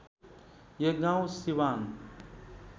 यो गाउँ सिवान